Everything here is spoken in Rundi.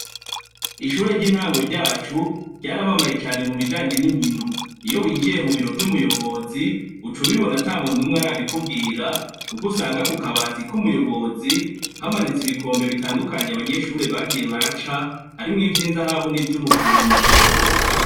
Ishure ry' intango ryacu ryaramamaye mubijanye n' inkino iyo winjiye mu biro vy' umuyobozi uca ubibona atamuntu numwe arabikubwira kuko usanga kukabati k' umuyobozi hamanitse ibikombe bitandukanye abanyeshure bagiye baraca harimwo ivy' inzahabu n' ivyumujumbu.